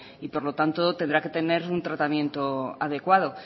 y por lo tanto tendrá que tener un tratamiento adecuado